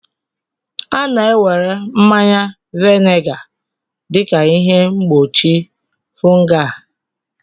A na-ewere mmanya vinega dị ka ihe mgbochi fungal